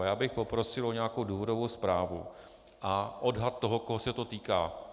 A já bych poprosil o nějakou důvodovou zprávu a odhad toho, koho se to týká.